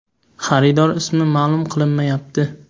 Xaridor ismi ma’lum qilinmayapti.